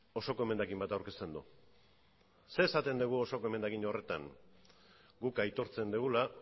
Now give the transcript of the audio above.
osoko emendakin bat aurkezten du zer esaten dugu osoko emendakin horretan guk aitortzen dugula